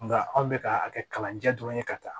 Nka anw bɛ ka a kɛ kalanjɛ dɔrɔn ye ka taa